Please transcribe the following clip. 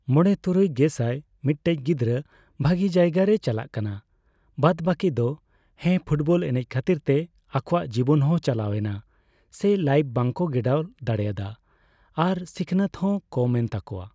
ᱢᱚᱲᱮ ᱛᱩᱨᱩᱭ ᱜᱮᱥᱟᱭ ᱢᱤᱫᱴᱮᱡ ᱜᱤᱫᱽᱨᱟᱹ ᱵᱷᱟᱹᱜᱤ ᱡᱟᱭᱜᱟ ᱨᱮᱭᱟ ᱪᱟᱞᱟᱜ ᱠᱟᱱᱟ, ᱵᱟᱫᱼᱵᱠᱤ ᱫᱚ᱾ ᱦᱮᱸ ᱯᱷᱩᱴᱵᱚᱞ ᱮᱱᱮᱡ ᱠᱷᱟᱹᱛᱤᱨ ᱛᱮ ᱟᱠᱚᱣᱟᱜ ᱡᱤᱵᱚᱱ ᱦᱚᱸ ᱪᱟᱞᱟᱣᱮᱱᱟ᱾ ᱥᱮ ᱞᱟᱭᱤᱯᱷ ᱵᱟᱠᱚ ᱜᱮᱲᱟᱣ ᱫᱟᱲᱮᱭᱟᱫᱟ ᱟᱨ ᱥᱤᱠᱷᱱᱟᱹᱛ ᱦᱚᱸ ᱠᱚᱢᱮᱱ ᱛᱟᱠᱚᱣᱟ᱾